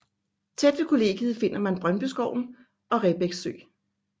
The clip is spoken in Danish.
Tæt ved kollegiet finder man Brøndbyskoven og Rebæk sø